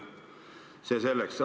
See selleks.